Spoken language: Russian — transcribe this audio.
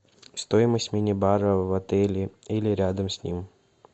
стоимость минибара в отеле или рядом с ним